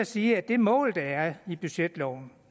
sige at det mål der er i budgetloven